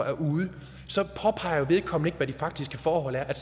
er ude så påpeger vedkommende ikke hvad de faktiske forhold er er